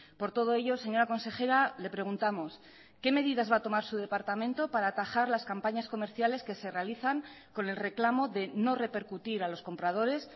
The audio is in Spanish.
por todo ello señora consejera le preguntamos que medidas va a tomar su departamento para atajar las campañas comerciales que se realizan con el reclamo de no repercutir a los compradores